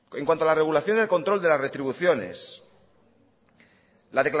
en cuanto a la regulación al control de la retribución